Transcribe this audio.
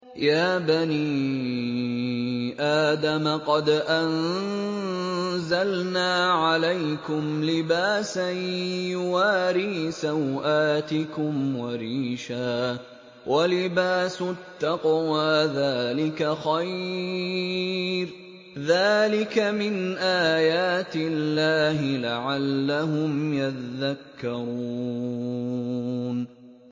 يَا بَنِي آدَمَ قَدْ أَنزَلْنَا عَلَيْكُمْ لِبَاسًا يُوَارِي سَوْآتِكُمْ وَرِيشًا ۖ وَلِبَاسُ التَّقْوَىٰ ذَٰلِكَ خَيْرٌ ۚ ذَٰلِكَ مِنْ آيَاتِ اللَّهِ لَعَلَّهُمْ يَذَّكَّرُونَ